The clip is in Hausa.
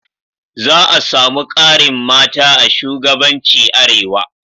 Za a samu ƙarin mata a shugabanci Arewa